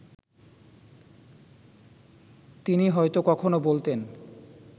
তিনি হয়তো কখনো বলতেন